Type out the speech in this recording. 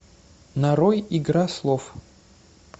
нарой игра слов